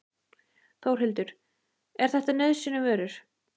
Þórhildur: Er þetta nauðsynjavörur?